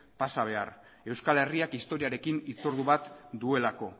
pasa behar euskal herriak historiarekin hitzordu bat duelako